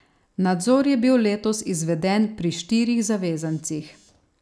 Nadzor je bil letos izveden pri štirih zavezancih.